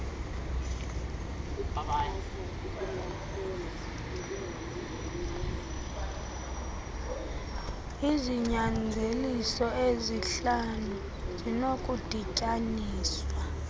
izinyanzeliso ezihlanu zinokudityaniswa